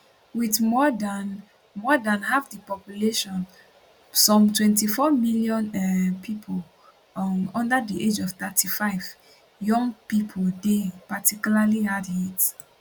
wit more dan more dan half di population some 24 million um pipo um under di age of 35 young pipo dey particularly hardhit